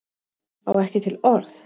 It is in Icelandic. Á ekki til orð.